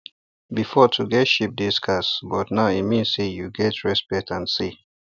before to get sheep dey scarce but now e mean say you get respect and say